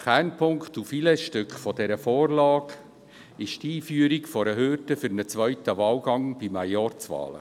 Kernpunkt und Filetstück dieser Vorlage ist die Einführung einer Hürde für zweite Wahlgänge bei Majorzwahlen.